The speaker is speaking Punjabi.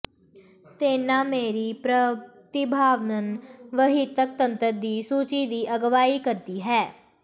ਤੇਨਾ ਮੈਰੀ ਪ੍ਰਤਿਭਾਵਾਨ ਵਹੀਤਕ ਤੰਤਰ ਦੀ ਸੂਚੀ ਦੀ ਅਗਵਾਈ ਕਰਦੀ ਹੈ